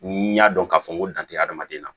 N y'a dɔn k'a fɔ n ko dan tɛ adamaden na